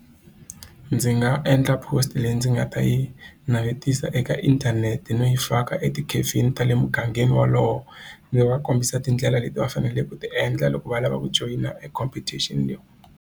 Ndzi nga endla post leyi ndzi nga ta yi navetisa eka inthanete no yi faka e tikhefini ta le mugangeni wolowo ndzi va kombisa tindlela leti va faneleke ku ti endla loko va lava ku joyina e competition leyi.